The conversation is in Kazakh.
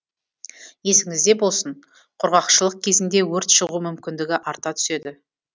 есіңізде болсын құрғақшылық кезінде өрт шығу мүмкіндігі арта түседі